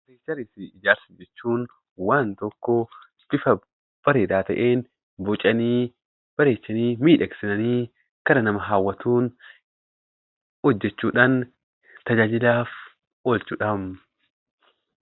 Arkiteekcharii jechuun waan tokko bifa bareedaa ta'een bocanii, bareechanii, miidhagsanii karaa nama hawwatuun hojjachuudhaan tajaajilaaf oolchuudha.